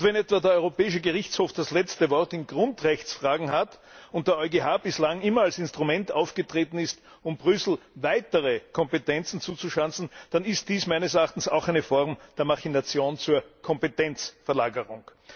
Und wenn etwa der Europäische Gerichtshof das letzte Wort in Grundrechtsfragen hat und der EuGH bislang immer als Instrument aufgetreten ist, um Brüssel weitere Kompetenzen zuzuschanzen, dann ist dies meines Erachtens auch eine Form der Machination zur Kompetenzverlagerung.